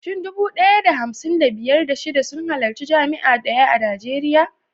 Shin dubu ɗaya da hamsin da biyar, da shida sun halarci jami'a daya a Najeriya?